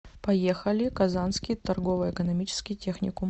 поехали казанский торгово экономический техникум